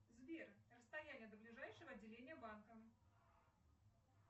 сбер расстояние до ближайшего отделения банка